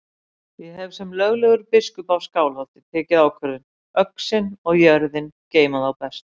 Ég hef sem löglegur biskup af Skálholti tekið ákvörðun: Öxin og jörðin geyma þá best.